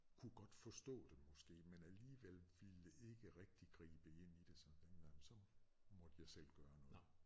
Kunne godt forstå det måske men alligevel ville ikke rigtigt gribe ind i det sådan den gang så måtte jeg selv gøre noget